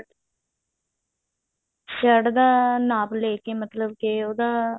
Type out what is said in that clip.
shirt ਦਾ ਨਾਪ ਲੈਕੇ ਮਤਲਬ ਕਿ ਉਹਦਾ